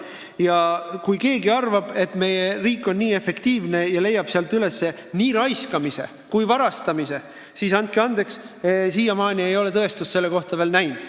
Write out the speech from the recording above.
Ja kui keegi arvab, et meie riik on väga efektiivne ja avastab kohe nii raiskamise kui varastamise, siis andke andeks, siiamaani ei ole me selle tõestust veel näinud.